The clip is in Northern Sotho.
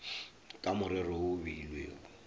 ka morero wo o beilwego